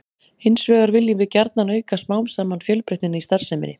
Hins vegar viljum við gjarnan auka smám saman fjölbreytnina í starfseminni.